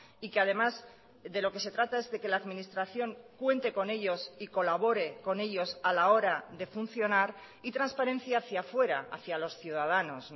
y que además de lo que se trata es de que la administración cuente con ellos y colabore con ellos a la hora de funcionar y transparencia hacía fuera hacía los ciudadanos